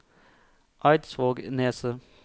Eidsvågneset